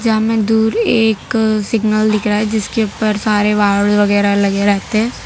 हमें दूर एक सिग्नल दिख रहा है जिसके ऊपर सारे वगैरह लगे रहते हैं।